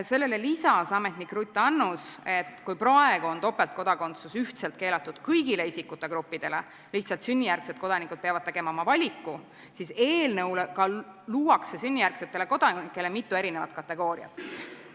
Sellele lisas ametnik Ruth Annus, et kui praegu on topeltkodakondsus ühtselt keelatud kõigile isikute gruppidele, lihtsalt sünnijärgsed kodanikud peavad tegema valiku, siis eelnõuga luuakse sünnijärgsetele kodanikele mitu erinevat kategooriat.